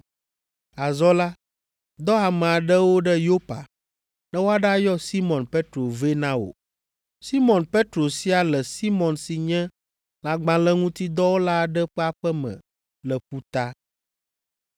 Azɔ la, dɔ ame aɖewo ɖe Yopa, ne woaɖayɔ Simɔn Petro vɛ na wò. Simɔn Petro sia le Simɔn si nye lãgbalẽŋutidɔwɔla aɖe ƒe aƒe me le ƒuta.’